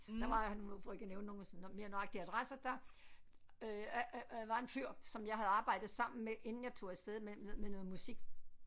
Der var nemlig for ikke at nævne noget mere nøjagtig adresse der øh var en fyr som jeg havde arbejdet sammen med inden jeg tog af sted med med noget musik